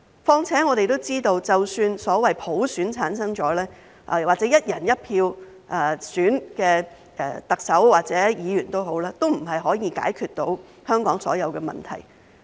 況且我們都知道，即使所謂普選產生或"一人一票"選出的特首或議員，都不能夠解決香港所有的問題。